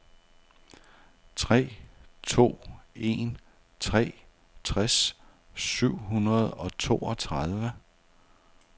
tre to en tre tres syv hundrede og toogtredive